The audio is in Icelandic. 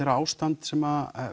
ástand sem